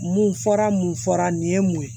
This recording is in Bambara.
Mun fɔra mun fɔra nin ye mun ye